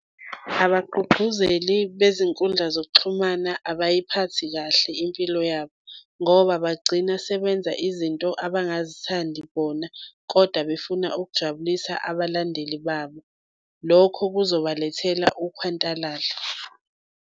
Abagqugquzeli bezinkundla zokuxhumana abayiphathi kahle impilo yabo, ngoba bagcina sebenza izinto abangazithandi bona kodwa befuna ukujabulisa abalandeli babo. Lokho kuzobalethela ukhwantalala.